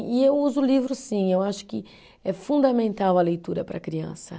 E eu uso livro sim, eu acho que é fundamental a leitura para a criança.